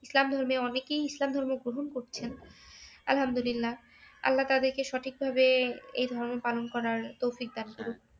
ইসলাম ধর্মে অনেকেই ইসলাম ধর্ম গ্রহন করছেন। আলহামদুলিল্লাহ আল্লাহ তাদেরকে সঠিকভাবে এই ধর্ম পালন করার তৌফিক দান করুক